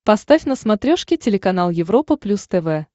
поставь на смотрешке телеканал европа плюс тв